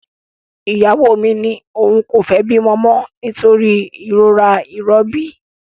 Ìyàwó mi ní òun kò fẹ́ bímọ mọ nítorí ìrora ìrọbí